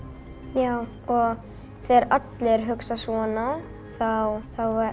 já og þegar allir hugsa svona þá